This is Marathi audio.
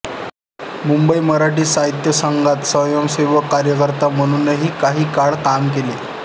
मुंबई मराठी साहित्य संघात स्वयंसेवक कार्यकर्ता म्हणूनही काही काळ काम केले